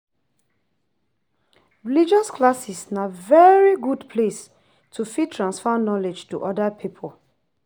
Religious classes na very good place to fit transfer knowledge to oda pipo